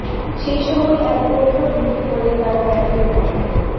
সেই সময় এক গোখরো ঢুকে পড়ে তার প্যান্টের মধ্যে